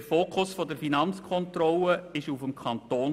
Der Fokus der Finanzkontrolle lag auf dem Kanton.